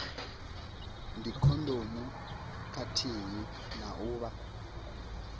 dzikhondomu khathihi na u vha